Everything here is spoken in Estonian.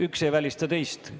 Üks ei välista teist.